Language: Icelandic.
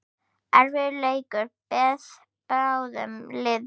Erfiður leikur beið báðum liðum.